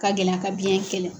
Ka gɛlɛya ka biyɛn kɛlɛ.